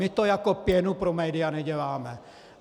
My to jako pěnu pro média neděláme.